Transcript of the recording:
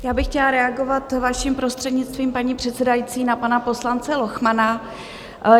Já bych chtěla reagovat vaším prostřednictvím, paní předsedající, na pana poslance Lochmana.